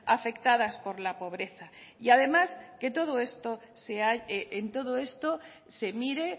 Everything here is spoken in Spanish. afectadas por la pobreza y además que en todo esto se mire